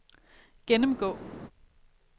gennemgå